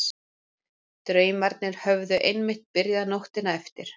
Draumarnir höfðu einmitt byrjað nóttina eftir.